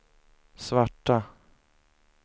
svarta